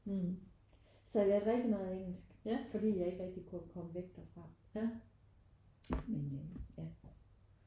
Så jeg lærte rigtig meget engelsk fordi jeg ikke rigtig kunne komme væk derfra men øh ja